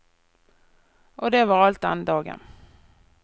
Og det var alt den dagen.